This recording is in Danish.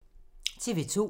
TV 2